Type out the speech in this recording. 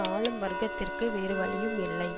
ஆளும் வர்க்கத்திற்கு வேறு வழியும் இல்லை